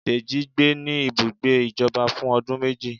Dejí gbé ní ibùgbé ìjọba fún ọdún méjì